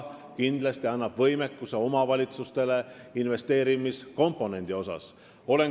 Kindlasti annab see omavalitsustele juurde võimekust ka investeerimiskomponendi seisukohalt.